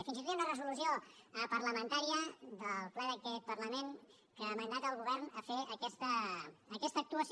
fins i tot hi ha una resolució parlamentària del ple d’aquest parlament que mandata el govern a fer aquesta actuació